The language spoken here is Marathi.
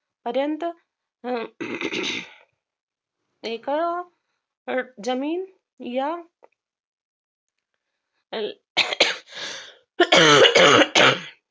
पर्यंत एका जमीन या